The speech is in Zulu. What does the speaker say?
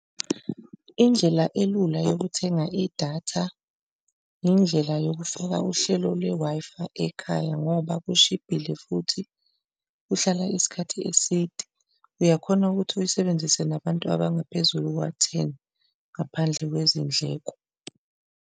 Indlela elula yokuthenga idatha, indlela yokufaka uhlelo lwe-Wi-Fi ekhaya ngoba kushibhile futhi kuhlala isikhathi eside, uyakhona ukuthi uyisebenzise nabantu abangaphezulu kuka-ten, ngaphandle kwezindleko.